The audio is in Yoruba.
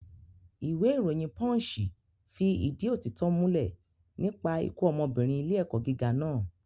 Ìwé ìròyìn pọ́ǹṣì fi ìdí òtítọ́ múlẹ̀ nípa ikú ọmọbìnrin ilé ẹ̀kọ́ gíga naa